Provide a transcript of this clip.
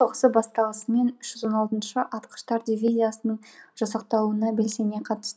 соғысы басталысымен үш жүз он алтыншы атқыштар дивизиясының жасақталуына белсене қатысты